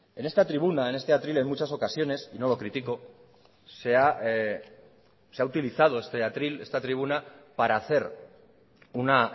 en esta tribuna en este atril en muchas ocasiones y no lo critico se ha utilizado este atril esta tribuna para hacer una